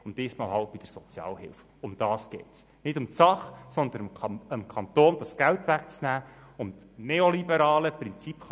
Wir nähern uns dieser 600er-Grenze und das entspricht nicht unserer Vorstellung eines verantwortungsvollen sozialen Kantons Bern.